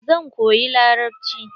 Zan koyi larabci.